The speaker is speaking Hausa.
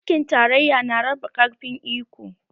Mulkin tarayya na raba ƙarfin iko